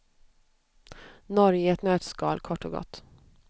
Norge i ett nötskal kort och gott.